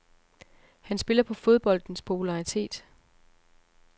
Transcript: Han spiller på fodboldens popularitet.